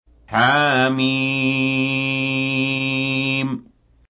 حم